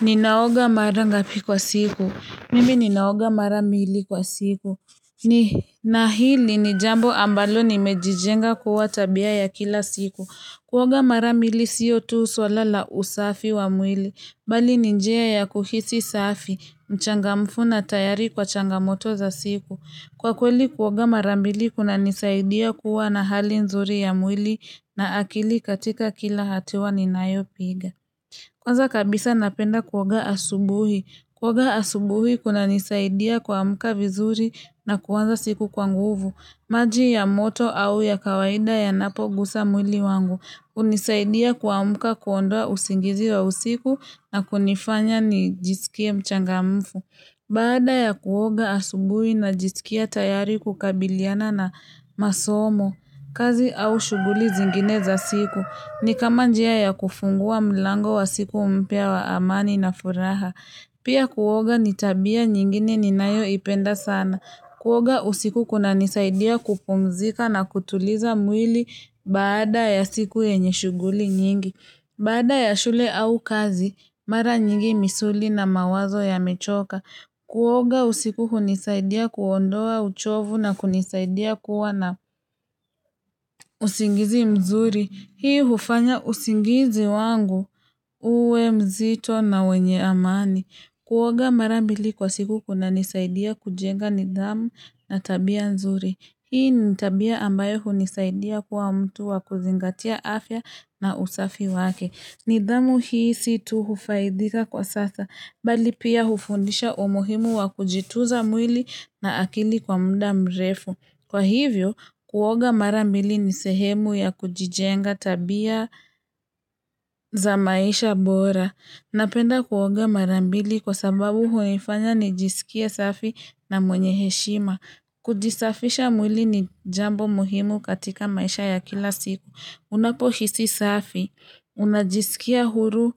Ninaoga mara ngapi kwa siku, mimi ninaoga mara mbili kwa siku ni na hili ni jambo ambalo nimejijenga kuwa tabia ya kila siku, kuoga mara mbili siyo tu swala la usafi wa mwili, bali ni njia ya kuhisi safi, mchangamfu na tayari kwa changamoto za siku Kwa kweli kuoga mara mbili kunanisaidia kuwa na hali nzuri ya mwili na akili katika kila hatua ninayopiga Kwanza kabisa napenda kuoga asubuhi. Kuoga asubuhi kunanisaidia kuamuka vizuri na kuanza siku kwa nguvu. Maji ya moto au ya kawaida yanapogusa mwili wangu. Hunisaidia kuamuka kuondoa usingizi wa usiku na kunifanya nijisikie mchangamfu. Baada ya kuoga asubuhi najisikia tayari kukabiliana na masomo, kazi au shughuli zingine za siku, ni kama njia ya kufungua mlango wa siku mpya wa amani na furaha. Pia kuoga ni tabia nyingine ninayoipenda sana. Kuoga usiku kunanisaidia kupumzika na kutuliza mwili baada ya siku yenye shughuli nyingi. Baada ya shule au kazi, mara nyingi misuli na mawazo yamechoka. Kuoga usiku hunisaidia kuondoa uchovu na kunisaidia kuwa na usingizi mzuri. Hii hufanya usingizi wangu. Uwe mzito na wenye amani. Kuoga mara mbili kwa siku kunanisaidia kujenga nidhamu na tabia nzuri. Hii ni tabia ambayo hunisaidia kuwa mtu wa kuzingatia afya na usafi wake. Nidhamu hii si tu kufaidika kwa sasa, bali pia hufundisha umuhimu wa kujitunza mwili na akili kwa muda mrefu. Kwa hivyo, kuoga mara mbili ni sehemu ya kujijenga tabia za maisha bora. Napenda kuoga mara mbili kwa sababu huwaifanya nijisikie safi na mwenye heshima. Kujisafisha mwili ni jambo muhimu katika maisha ya kila siku. Unapohisi safi. Unajisikia huru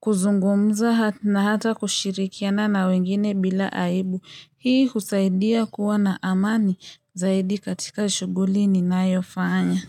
kuzungumza na hata kushirikiana na wengine bila aibu. Hii husaidia kuwa na amani zaidi katika shughuli ninayofanya.